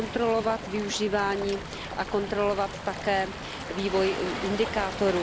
kontrolovat využívání a kontrolovat také vývoj indikátorů.